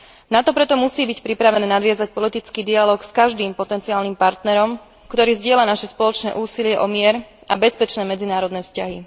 NATO preto musí byť pripravené nadviazať politický dialóg s každým potenciálnym partnerom, ktorý zdieľa naše spoločné úsilie o mier a bezpečné medzinárodné vzťahy.